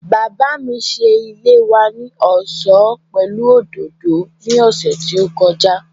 Bàbá mi ṣe ilé wa ní ọ̀ṣọ́ pẹ̀lú òdòdó ní ọ̀sẹ̀ tí ó kọjá